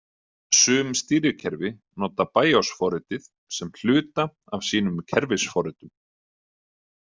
Sum stýrikerfi nota BIOS forritið sem hluta af sínum kerfisforritum.